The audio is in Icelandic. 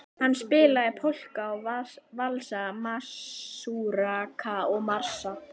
Hann spilaði polka og valsa, masúrka og marsa.